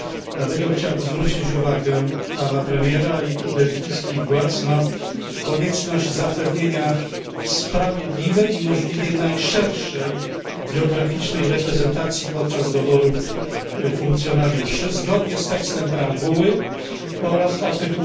Dlatego chciałbym zwrócić uwagę Pana Premiera i belgijskich władz na konieczność zapewnienia sprawiedliwej i możliwie najszerszej geograficznie reprezentacji podczas doboru funkcjonariuszy, zgodnie z tekstem preambuły oraz art.